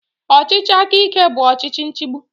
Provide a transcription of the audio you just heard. Ọchịchị aka ike bụ ọchịchị nchigbu